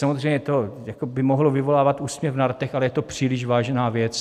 Samozřejmě by to mohlo vyvolávat úsměv na rtech, ale je to příliš vážná věc.